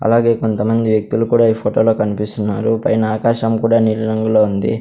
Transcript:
అలాగే కొంతమంది వ్యక్తులు కూడా ఈ ఫొటోలో కన్పిస్తున్నారు పైన ఆకాశం కూడా నీలి రంగులో ఉంది.